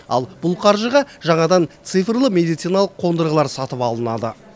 ал бұл қаржыға жаңадан цифрлы медициналық қондырғылар сатып алынады